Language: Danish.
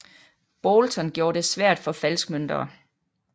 Boulton gjorde det svært for falskmøntnere